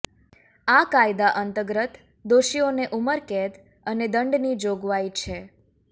આ કાયદા અંતર્ગત દોષીઓને ઉંમરકેદ અને દંડની જોગવાઇ છે